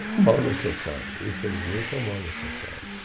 Mal necessário, infelizmente, é um mal necessário.